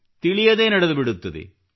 ತಿಳಿಯದೇ ನಡೆದುಬಿಡುತ್ತದೆ